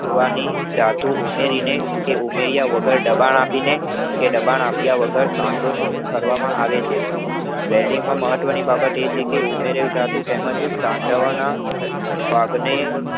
જુવાની ધાતુ ઉમેરીને કે ઉમેર્યા વગર દબાણ આપીને કે દબાણ આપ્યા વગર બંધીઓ તૈયાર કરવામાં આવે છે welding માં મહત્વની બાબત એ વહે કે ઉમેરેલ ધાતુ તેમાં થી સાંધાવાના ભાગને